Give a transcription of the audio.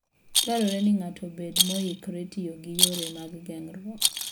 Dwarore ni ng'ato obed moikore tiyo gi yore mag geng'ruok.